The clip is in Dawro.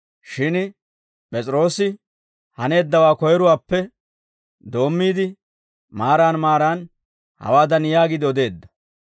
Shin P'es'iroosi haneeddawaa koyruwaappe doommiide, maaran maaran hawaadan yaagiide odeedda;